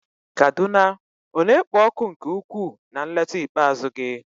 Kaduna ọ na-ekpo ọkụ nke ukwuu na nleta ikpeazụ gị?